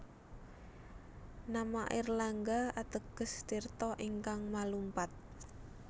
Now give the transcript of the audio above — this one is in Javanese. Nama Airlangga ateges tirta ingkang malumpat